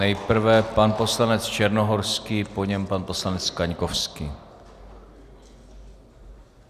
Nejprve pan poslanec Černohorský, po něm pan poslanec Kaňkovský.